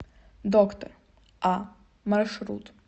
доктор а маршрут